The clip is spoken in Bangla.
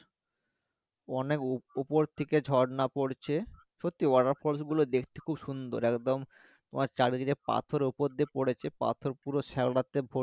অনেক উপর থেকে ঝর্ণা পড়ছে সত্যি water falls গুলো দেখতে খুব সুন্দর একদম তোমার চারিদিকে পাথরের ওপর দিকে পড়েছে, পাথর পুরো শ্যাওলাতে